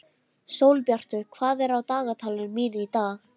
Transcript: Sólbjartur, hvað er á dagatalinu mínu í dag?